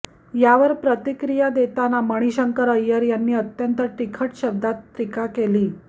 यावर प्रतिक्रिया देताना मणिशंकर अय्यर यांनी अत्यंत तिखट शब्दांत टीका केली